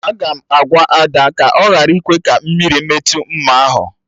Aga m agwa Ada ka ọ ghara ịkwe ka mmiri metụ mma ahụ